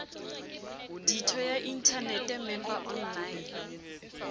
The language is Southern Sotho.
ditho ya inthanete member online